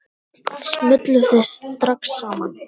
Smulluð þið strax saman?